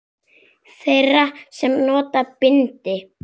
Þeirra sem nota bindi?